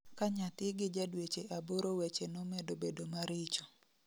Ka nyathi gi ja dweche aboro weche nomedo bedo maricho